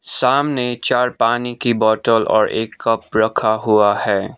सामने चार पानी की बॉटल और एक कप रखा हुआ है।